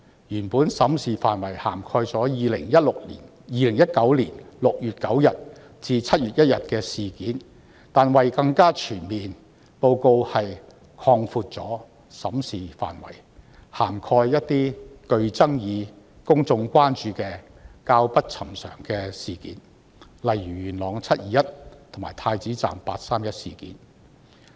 原本審視範圍涵蓋2019年6月9日至7月1日的事件，但為令內容更為全面，報告擴大審視範圍至涵蓋一些具爭議、公眾關注及較不尋常的事件，例如元朗"七二一"事件及太子站"八三一"事件。